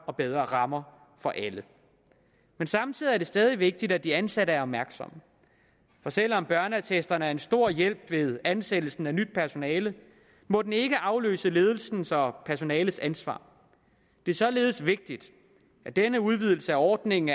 og bedre rammer for alle men samtidig er det stadig vigtigt at de ansatte er opmærksomme for selv om børneattesterne er en stor hjælp ved ansættelsen af nyt personale må den ikke afløse ledelsens og personalets ansvar det er således vigtigt at denne udvidelse af ordningen